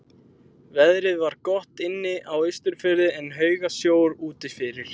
Veðrið var gott inni á Austurfirði en haugasjór úti fyrir.